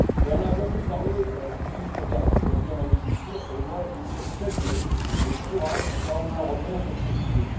On a beaucoup parlé du glyphosate aujourd'hui en agriculture, et je voudrais saluer le courage du Parlement européen sur ce sujet.